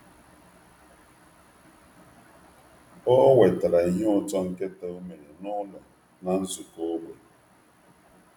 Ọ wetara ihe ụtọ nkịta o mere n’ụlọ na nzukọ ógbè.